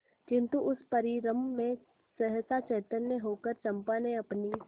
किंतु उस परिरंभ में सहसा चैतन्य होकर चंपा ने अपनी